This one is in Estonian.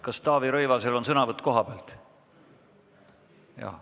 Kas Taavi Rõivasel on sõnavõtt kohapealt?